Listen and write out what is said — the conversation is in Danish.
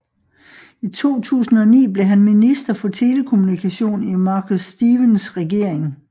I 2009 blev han minister for telekommunikation i Marcus Stephens regering